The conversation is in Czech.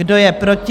Kdo je proti?